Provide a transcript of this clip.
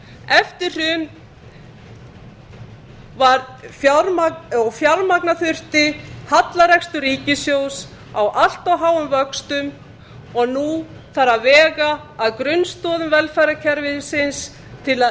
eftir hrun þurfti að fjármagna hallarekstur ríkissjóðs á allt of háum vöxtum og nú þarf að vega að grunnstoðum velferðarkerfisins til að